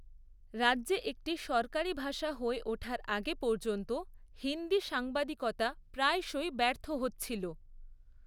রাজ্যে একটি সরকারী ভাষা হয়ে ওঠার আগে পর্যন্ত হিন্দি সাংবাদিকতা প্রায়শই ব্যর্থ হচ্ছিল।